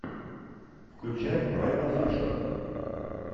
включай айла фишер